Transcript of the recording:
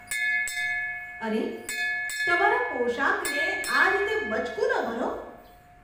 અરે, તમારા પોશાકને આ રીતે બચકું ન ભરો.